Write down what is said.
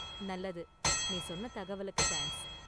நல்லது. நீ சொன்ன தகவலுக்கு தேங்க்ஸ்.